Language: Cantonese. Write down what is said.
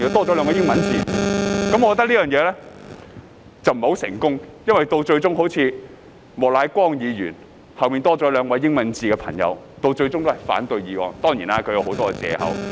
我認為這個方法不太成功，因為即使莫乃光議員的姓名後多了兩個英文字母，但他最終仍反對該議案。